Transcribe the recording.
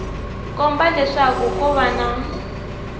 komba leswaku ko va na